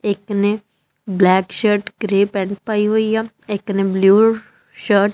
ਇੱਕ ਨੇ black shirt grey pant ਪਾਈ ਹੋਇਆ ਇੱਕ ਨੇ ਬਲੂ ਸ਼ਰਟ ।